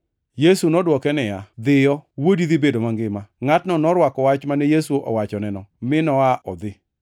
Yesu nodwoke niya, “Dhiyo, wuodi dhi bedo mangima.” Ngʼatno norwako wach mane Yesu owachoneno, mi noa odhi.